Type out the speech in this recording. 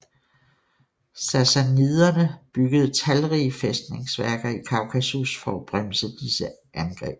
Sassaniderne byggede talrige fæstningsværker i Kaukasus for at bremse disse angreb